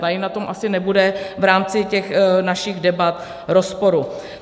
Tady na tom asi nebude v rámci těch našich debat rozporu.